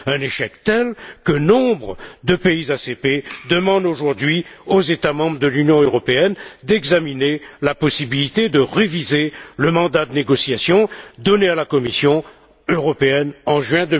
Un échec tel que nombre de pays ACP demandent aux États membres de l'Union européenne d'examiner la possibilité de réviser le mandat de négociation donné à la Commission européenne en juin